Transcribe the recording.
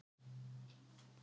Þarf bara að hlaupa fram